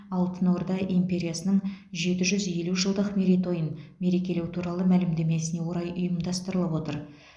алтын орда империясының жеті жүз елу жылдық мерейтойын мерекелеу туралы мәлімдемесіне орай ұйымдастырылып отыр